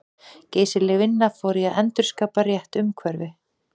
Geysileg vinna fór í að endurskapa rétt umhverfi.